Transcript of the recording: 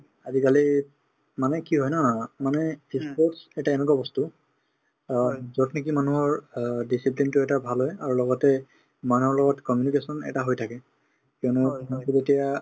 আজিকালি মানে কি হয় ন মানে ই sports এটা এনেকুৱা বস্তু অ যত নেকি মানুহৰ অ discipline তো এটা ভাল হয় লগতে মানুহৰ লগত communication এটা হৈ থাকে কিয়নো এতিয়া